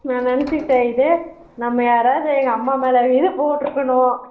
நான் நினச்சுட்டேன் இது நம்ம யாராவது எங்க அம்மா மேல கீது போட்டுருக்கணும்